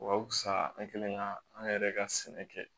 Wa wusa an kɛlen ka an yɛrɛ ka sɛnɛ kɛ